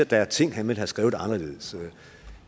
der er ting han ville have skrevet anderledes